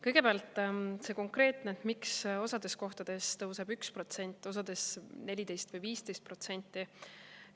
Kõigepealt see konkreetne, miks osas kohtades tõuseb 1%, osas 14% või 15%.